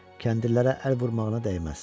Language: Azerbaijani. Kəndirlərə əl vurmağına dəyməz.